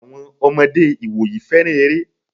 Àwọn ọmọdé ìwòyí féràn eré.